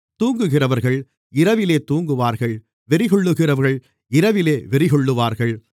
தூங்குகிறவர்கள் இரவிலே தூங்குவார்கள் வெறிகொள்ளுகிறவர்கள் இரவிலே வெறிகொள்ளுவார்கள்